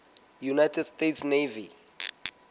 united states navy